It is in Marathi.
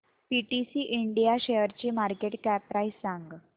पीटीसी इंडिया शेअरची मार्केट कॅप प्राइस सांगा